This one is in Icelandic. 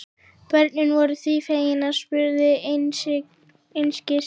Börnin voru því fegin og spurðu einskis.